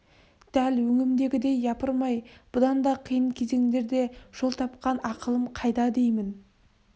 дәл өңімдегідей япырмай бұдан да қиын кезеңдерде жол тапқан ақылым қайда деймін